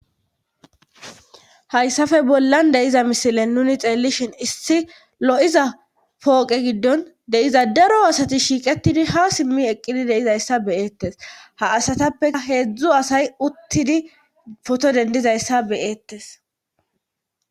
hayssafe bollan de'iza misilen nuni xeellishin issi lo7iza pooqe giddon deiza daro asati shiiqetidi ha simmi eqqidi de'izayssa beyeettes ha asatappea heedzdzu asay uttidi foto dendizayssa beyeettes